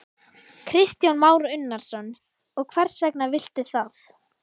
Kristján Már Unnarsson: Og hvers vegna viltu það?